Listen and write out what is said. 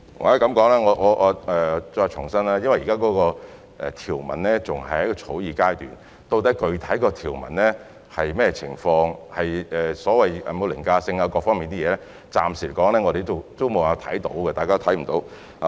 或許我再次重申，由於現時條文仍然在草擬階段，究竟具體的條文會是甚麼，有否所謂凌駕性或各方面的問題，我們暫時沒有辦法知悉。